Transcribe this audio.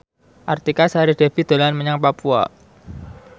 Artika Sari Devi dolan menyang Papua